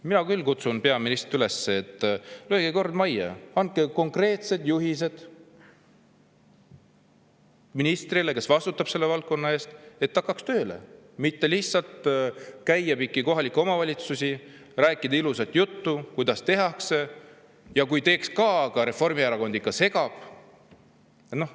Mina küll kutsun peaministrit üles, et lööge kord majja, andke konkreetsed juhised ministrile, kes vastutab selle valdkonna eest, et ta hakkaks tööle, mitte lihtsalt ei käiks mööda kohalikke omavalitsusi ega räägiks ilusat juttu, kuidas tehakse ja kuidas teeks ka, aga Reformierakond ikka segab.